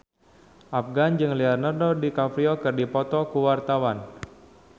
Afgan jeung Leonardo DiCaprio keur dipoto ku wartawan